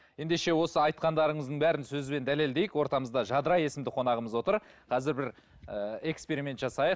ендеше осы айтқандарыңыздың бәрін сөзбен дәлелдейік ортамызда жадыра есімді қонағымыз отыр қазір бір ііі эксперимент жасайық